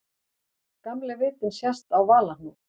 Gamli vitinn sést á Valahnúk.